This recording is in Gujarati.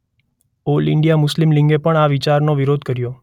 ઓલ ઈંડિયા મુસ્લીમ લિગે પણ આ વિચારનો વિરોધ કર્યો.